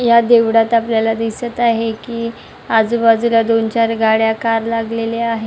या देवळात आपल्याला दिसत आहे की आजूबाजूला दोन चार गाड्या कार लागलेल्या आहेत.